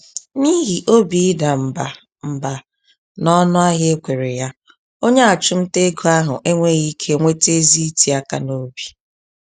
N'ihi obi ọdịda mbà mbà nọnụ ahịa ekwere ya, onye achumtaego ahụ enweghị ike nweta ezi iti-aka nobi